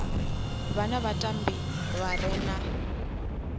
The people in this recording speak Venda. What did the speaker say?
wana vhatambi vha re na